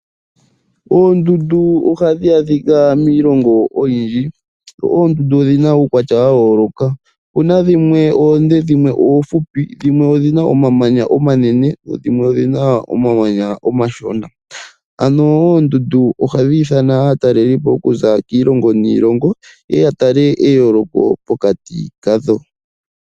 Oondundu ohadhi adhika miilongo oyindji. Oondundu odhina uukwatya wa yooloka. Opuna dhimwe oonde, dhimwe oofupi, dhimwe odhina omamanya omanene dho dhimwe odhina omamanya omashona. Ano oondundu ohadhi nana aatalelipo okuza kiilongo niilongo yeye ya tale eyooloko pokati kadho.